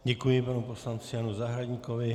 Děkuji panu poslanci Janu Zahradníkovi.